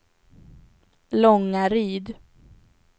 Långaryd